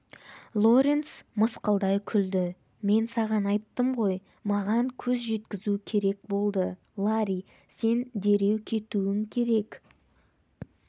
лоренс мысқылдай күлді мен саған айттым ғой маған көз жеткізу керек болды ларри сен дереу кетуің керек